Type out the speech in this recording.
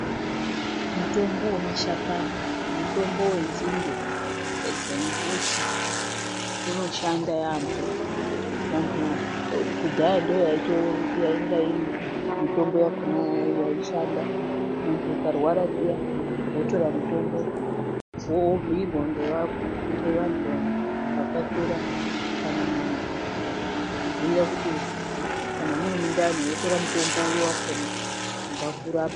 Mutombo wemashakani mutombo wenzinde dzembuti unoshanda yaambo vandu kudhaya ndoyainga iri mutombo yakona yaishanda mundu akarwara zviya waitora mutombo dzawabhuyirwa ngevandu vakuru kana n'anga vokubhuyira kuti kana Uri mundani wotora mutombo uri wakona ungakurapa.